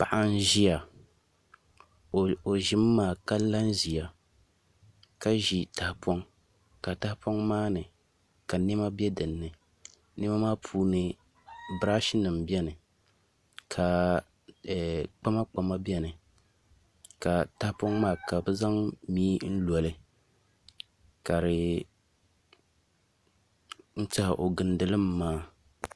Paɣa n ʒiya o ʒimi maa ka la n ʒiya ka ʒi tahapoŋ ka tahapoŋ maa ni ka niɛma bɛ dinni niɛma maa puuni birash nim biɛni ka kpama kpama biɛni ka tahapoŋ maa ka bi zaŋ mii loli ka di n tiɛha o gindi li mi maa